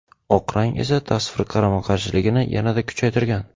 Oq rang esa tasvir qarama-qarshiligini yanada kuchaytirgan.